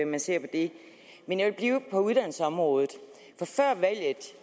man ser på det men jeg vil blive på uddannelsesområdet for før valget